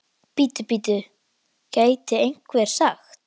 Bíddu, bíddu, gæti einhver sagt.